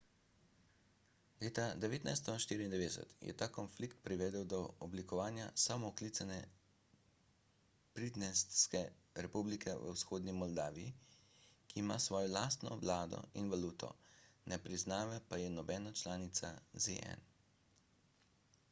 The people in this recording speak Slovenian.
leta 1994 je ta konflikt privedel do oblikovanja samooklicane pridnestrske republike v vzhodni moldaviji ki ima svojo lastno vlado in valuto ne priznava pa je nobena članica zn